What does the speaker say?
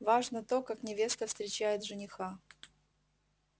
важно то как невеста встречает жениха